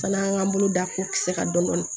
Fana an k'an bolo da ko kisɛ kan dɔn